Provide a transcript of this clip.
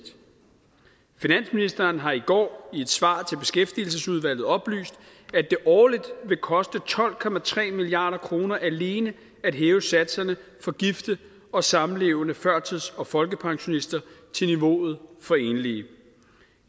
finansministeren har i går i et svar til beskæftigelsesudvalget oplyst at det årligt vil koste tolv milliard kroner alene at hæve satserne for gifte og samlevende førtids og folkepensionister til niveauet for enlige